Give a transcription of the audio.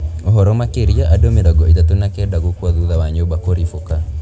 Ũhoro makĩria andũ mĩrongo ĩtatũ na kenda gũkua thutha wa nyũmba ũribũka